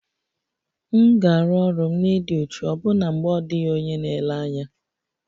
M ga-arụ ọrụ m n'ịdị uchu ọbụna mgbe ọ dịghị onye na-ele anya